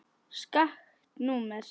Skakkt númer.